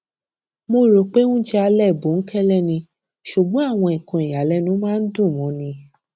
mo rò pé oúnjẹ alẹ bòńkẹlẹ ni ṣùgbọn àwọn nǹkan ìyàlẹnu máa ń dùn móni